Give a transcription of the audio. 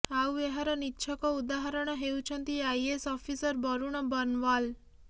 ଆଉ ଏହାର ନିଚ୍ଛକ ଉଦାହରଣ ହେଉଛନ୍ତି ଆଇଏଏସ ଅଫିସର ବରୁଣ ବର୍ନୱାଲ